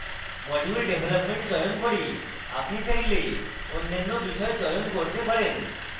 module development চয়ন করি আপনি চাইলে অন্যান্য বিষয় চয়ন করতে পারেন